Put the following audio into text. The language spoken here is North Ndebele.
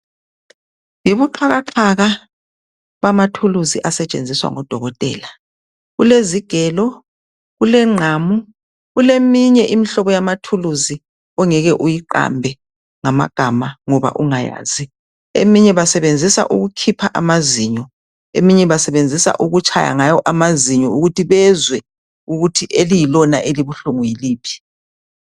Yibuqhakaqhaka bamathuluzi asetshenziswa ngodokotela. Kulezigelo, kulengqamu, kuleminye imihlobo yamathuluzi ongeke uyiqambe ngamagama ngoba ungayazi. Eminye basebenzisa ukukhipha amazinyo, eminye basebenzisa ukutshaya ngayo amazinyo ukuthi bezwe ukuthi eliyilona elibuhlungu yiliphi.